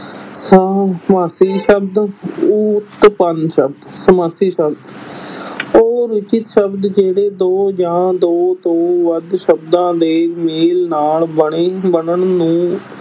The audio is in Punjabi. ਸ ਸਮਾਸੀ ਸ਼ਬਦ ਉਤਪੰਨ ਸ਼ਬਦ, ਸਮਾਸੀ ਸ਼ਬਦ ਉਹ ਰਚਿਤ ਸ਼ਬਦ ਜਿਹੜੇ ਦੋ ਜਾਂ ਦੋ ਤੋਂ ਵੱਧ ਸ਼ਬਦਾਂ ਦੇ ਮੇਲ ਨਾਲ ਬਣੇ ਬਣਨ ਨੂੰ